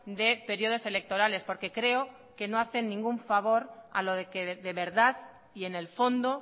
de periodos electorales porque creo que no hacen ningún favor a lo que de verdad y en el fondo